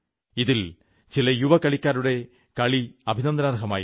ഇതിൽ ചില യുവ കളിക്കാരുടെ കളി അഭിനന്ദനാർഹമായിരുന്നു